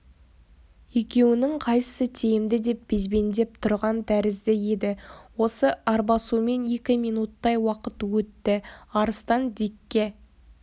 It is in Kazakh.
екеуінің қайсысы тиімді деп безбендеп тұрған тәрізді еді осы арбасумен екі минуттай уақыт өтті арыстан дикке